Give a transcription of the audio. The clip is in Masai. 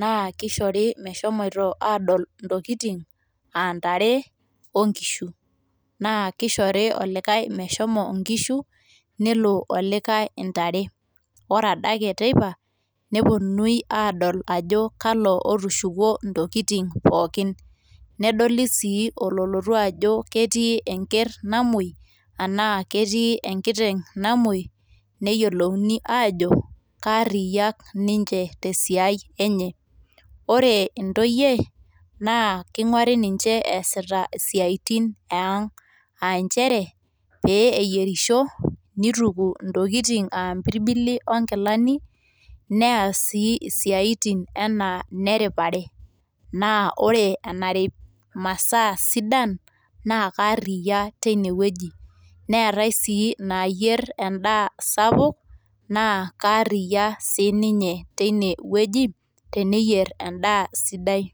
naa kishori meshomi adol intokitin aa ntare oonkishu naa kishori olikae meshomo inkishu nelo olikae intare ore adake teipa neponuni adol ajo kalo otiushukuo intokitin pookin ,nedol sii ololotu ajo ketii enker namwoi anaa ketii enkiteng namwoi niyiolouni aajo kaariak ninche te siai enye . ore intoyie naa kinguari ninche easita isiatin eang aa nchere peyie eyierisho, nituku intokitin aa mpirbili onkilani neas sii isiatin enaa ine ripare naa ore enarip imasaa sidan naa kaaria teine wueji . neetae sii inayier endaa sapuk naa karia sinye teine wueji teneyier endaa sidai.